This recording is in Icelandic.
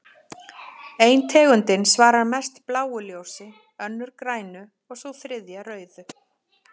Ein tegundin svarar mest bláu ljósi, önnur grænu og sú þriðja rauðu.